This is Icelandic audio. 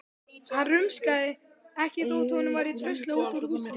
Hann rumskaði ekki þótt honum væri dröslað út úr húsinu.